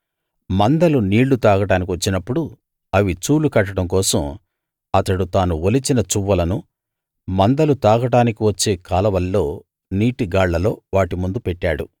మందలు నీళ్ళు తాగడానికి వచ్చినప్పుడు అవి చూలు కట్టడం కోసం అతడు తాను ఒలిచిన చువ్వలను మందలు తాగడానికి వచ్చే కాలవల్లో నీటి గాళ్ళలో వాటి ముందు పెట్టాడు